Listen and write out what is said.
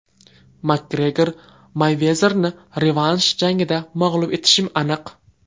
Makgregor: Meyvezerni revansh jangida mag‘lub etishim aniq.